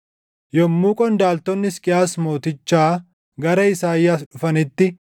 Yommuu qondaaltonni Hisqiyaas Mootichaa gara Isaayyaas dhufanitti,